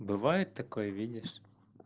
бывает такое видишь